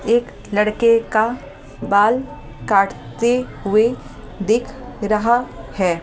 एक लड़के का बाल काटते हुए दिख रहा है।